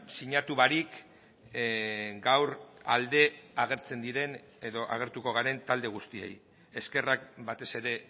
sinatu barik gaur alde agertzen diren edo agertuko garen talde guztiei eskerrak batez ere